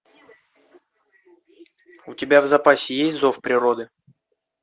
у тебя в запасе есть зов природы